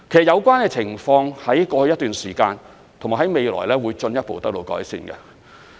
有關情況在過去一段時間和未來會進一步得到改善。